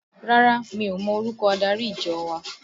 Rárá, mi ò mọ orúkọ adarí ìjọ wa